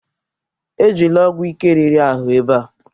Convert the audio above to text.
Ejila ọgwụ ike riri ahụ ebe a!